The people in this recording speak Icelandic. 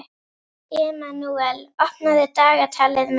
Emanúel, opnaðu dagatalið mitt.